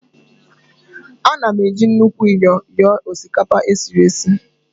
Ana m eji nnukwu myọ nyọọ osikapa esiri esi